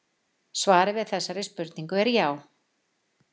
Svarið við þessari spurningu er já.